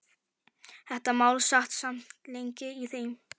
Þetta mál sat samt lengi í þeim.